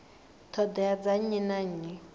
ṱhoḓea dza nnyi na nnyi